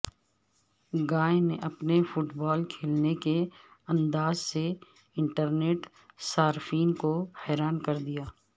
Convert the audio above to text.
گائے نے اپنے football کھیلنے کے انداز سے انٹرنیٹ صارفین کو حیران کر دیا